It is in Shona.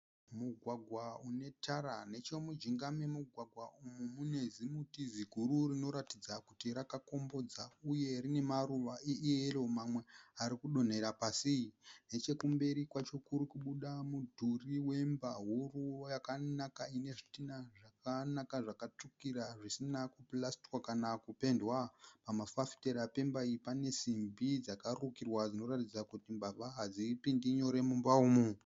Mugwagwa une tara. Nechemujinga memugwagwa umu mune zimuti ziguru rinoratidza kuti raka kombodza. Uye rine maruva eyeru mamwe ari kudonhera pasi . Nechekumberi kwacho kuri kubuda mudhuri wemba huru yakanaka ine zvidhina zvakanaka zvaka tsvukira zvisina ku purasitiwa kana ku.pendwa. Pama fafitera pemba iyi pane simbi dzaka rukirwa dzinoratidza kuti mbavha hadzipindi nyore mumba umu.